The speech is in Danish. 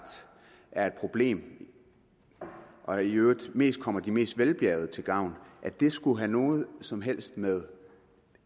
er et problem og i øvrigt mest kommer de mest velbjærgede til gavn skulle have noget som helst med